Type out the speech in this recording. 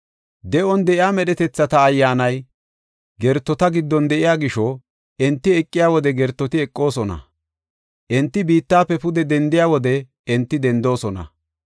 De7on de7iya medhetethata ayyaanay gertota giddon de7iya gisho, enti eqiya wode gertoti eqoosona; enti biittafe pude dendiya wode enti dendoosona.